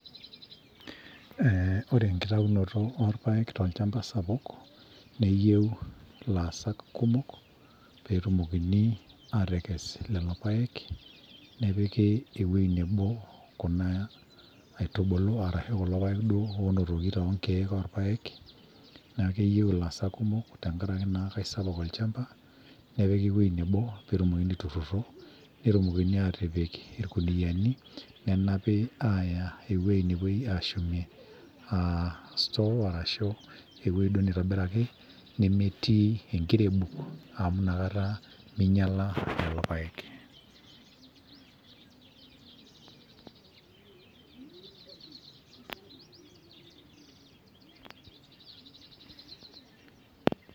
Ee ore enkitayunoto oo irpaek toolchamba sapuk, neyieu ilaasak kumok peetumokini aatekes lelopaek nepiki ewoji nebo kuna aitubulu arashu kulo paek duoo onotoki te kulo keek oo irpaek naa keyieu ilaasak kumok te nkaraki naa kaisapuk olchamba nepiki ewoji nebo peetumokini aitururro netumokini aatipik irkuniyiani nenapi aaya ewuoji nepuoi aashumie aa CS[store]CS arashu ewuoji duo neitobiraki nemetii enkirebuk amu nakata minyiala lelo paek.